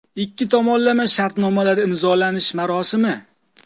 Ikki tomonlama shartnomalar imzolash marosimi.